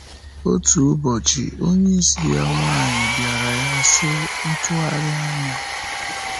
Otu ụbọchị, onyeisi ya nwanyị bịara ya, sị: “Ntụgharị anya!”